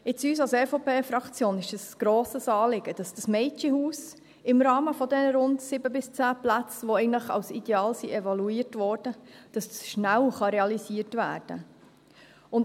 Uns als EVP-Fraktion ist es ein grosses Anliegen, dass das Mädchenhaus im Rahmen der rund 7 bis 10 Plätze, die eigentlich als ideal evaluiert worden sind, schnell realisiert werden kann.